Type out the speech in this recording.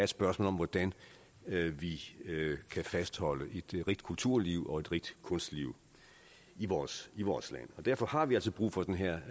spørgsmål om hvordan vi kan fastholde et rigt kulturliv og et rigt kunstliv i vores i vores land derfor har vi altså brug for den her